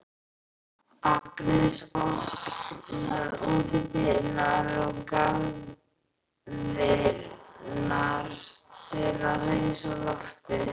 Agnes opnar útidyrnar og garðdyrnar til að hreinsa loftið.